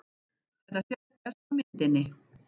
Þetta sést best á myndinni.